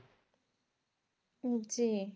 জি